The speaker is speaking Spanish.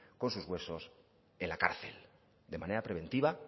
con sus huesos en la cárcel de manera preventiva